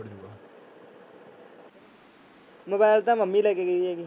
Mobile ਤਾਂ mummy ਲੈ ਕੇ ਗਈ ਹੈਗੀ।